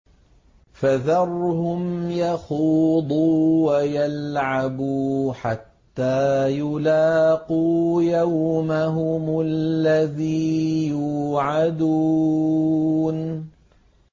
فَذَرْهُمْ يَخُوضُوا وَيَلْعَبُوا حَتَّىٰ يُلَاقُوا يَوْمَهُمُ الَّذِي يُوعَدُونَ